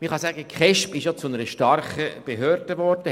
Man kann sagen, dass die KESB zu einer starken Behörde geworden ist.